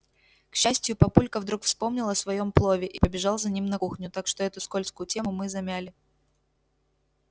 к счастью папулька вдруг вспомнил о своём плове и побежал за ним на кухню так что эту скользкую тему мы замяли